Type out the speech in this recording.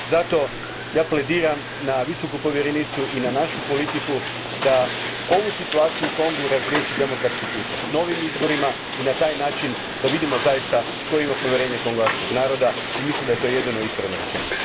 Zato plediram na Visoku povjerenicu i na našu politiku da ovu situaciju u Kongu razriješi demokratskim putem, novim izborima i na taj način da vidimo zaista tko ima povjerenje kongoanskog naroda i mislim da je to jedino ispravno rješenje.